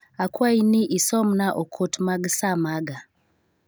Akwayi ni isomna okot mag saa maga.